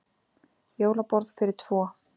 Jólaborð fyrir tvo.